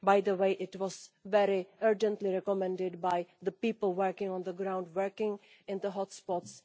By the way, it was very urgently recommended by the people working on the ground, in the hot spots.